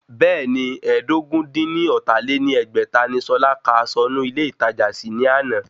Bẹ́ẹ̀ni, ẹ́ẹdógún-dín-ní-ọ́ta lé ní ẹgbẹ́ta ni Ṣọlá kà aṣọ inú ilé ìtajà sí ní àná